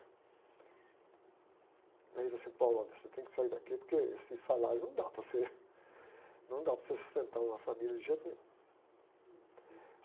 Aí ele disse assim, olha, você tem que sair daqui porque esse salário não dá para você, não dá para você sustentar uma família de jeito nenhum.